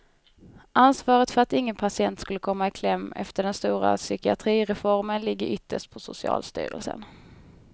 Ansvaret för att ingen patient skulle komma i kläm efter den stora psykiatrireformen ligger ytterst på socialstyrelsen.